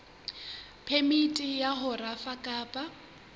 phemiti ya ho rafa kapa